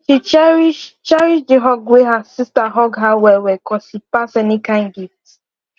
she cherish cherish the hug wey her sister hug her well well cos e pass any kind gift